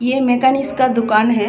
यह मैकेनिक्स का दुकान है।